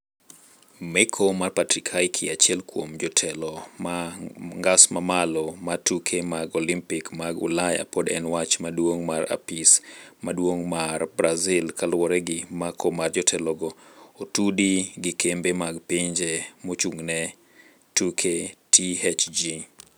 Meko mar Patrick Hickey, achiel kuom jotelo ma ngas mamalo mar tuke mag olimpik mag ulaya, pod en wach maduong mar apis maduong' mar Brasil, kaluore gi mako mar jotelogo otudgi gi kembe mag pinje mochung'ne tuke, THG.